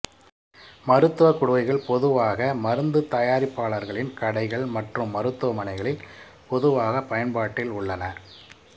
மருத்துவ குடுவைகள் பொதுவாக மருந்து தயாரிப்பாளர்களின் கடைகள் மற்றும் மருத்துவமனைகளில் பொதுவாகப் பயன்பாட்டில் உள்ளன